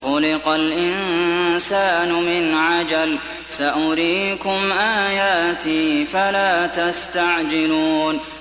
خُلِقَ الْإِنسَانُ مِنْ عَجَلٍ ۚ سَأُرِيكُمْ آيَاتِي فَلَا تَسْتَعْجِلُونِ